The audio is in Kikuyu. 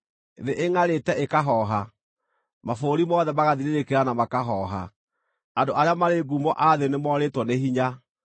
Thĩ ĩngʼarĩte ĩkahooha, mabũrũri mothe magathirĩrĩkĩra na makahooha, andũ arĩa marĩ ngumo a thĩ nĩmorĩtwo nĩ hinya.